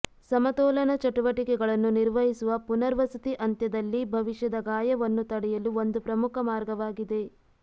ಸಮತೋಲನ ಚಟುವಟಿಕೆಗಳನ್ನು ನಿರ್ವಹಿಸುವ ಪುನರ್ವಸತಿ ಅಂತ್ಯದಲ್ಲಿ ಭವಿಷ್ಯದ ಗಾಯವನ್ನು ತಡೆಯಲು ಒಂದು ಪ್ರಮುಖ ಮಾರ್ಗವಾಗಿದೆ